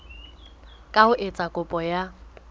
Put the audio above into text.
ka ho etsa kopo ya